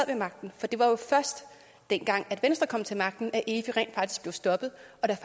ved magten for det var jo først dengang venstre kom til magten at efi rent faktisk blev stoppet